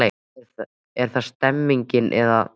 Er það stemningin eða?